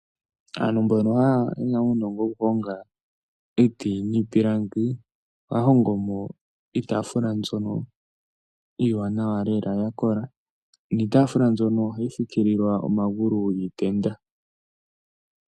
Aantu mbono yena uunongo wokuhonga iiti niipilangi ohaya hongo mo iitaafula mbyoka iiwanawa lela niitafula mbyono ohayi fikilwa omagulu giitenda.